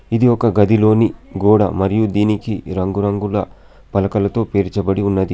ఇది ఒక గదిలోని గోడ. మరియు దీనికి రంగురంగుల పలకలతో పేర్చబడి ఉన్నది.